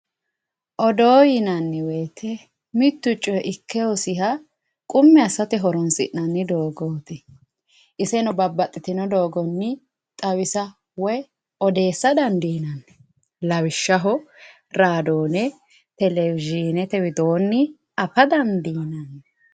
odoo yinanniwoyiite mittu coyi ikke hosinoha qummi assate horonsi'nanni dogooti iseno babbaxitino doogonni xawisa woye odeesa dandiinanni lawishshaho raadoone, televizhinete widoonni afa dandiinanni